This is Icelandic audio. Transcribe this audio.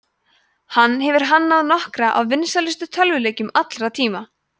hann hefur hannað nokkra af vinsælustu tölvuleikjum allra tíma